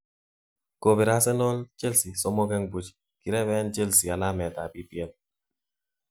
Kobir Arsenal, Chelsea3_0 kireben Chelsea alamet tab EPL.